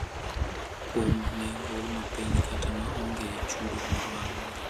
kuom nengo ma piny kata ma onge chudo moro amora.